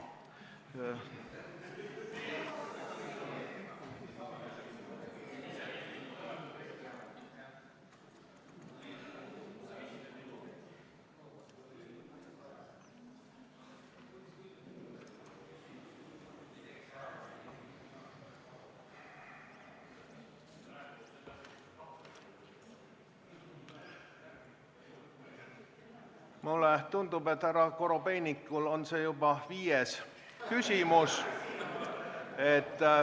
Mulle tundub, et härra Korobeinikul on see juba viies küsimus.